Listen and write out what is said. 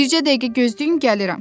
Bircə dəqiqə gözləyin gəlirəm.